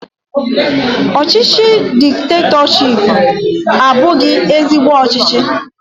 Ọchịchị diktetọshiipu abụghị ezigbo ọchịchị